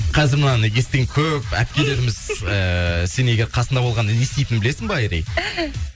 қазір мынаны естіген көп әпкелеріміз ыыы сен егер қасында болғанда не істейтінін білесің ба айри